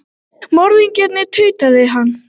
Morðingjar, tautaði hann.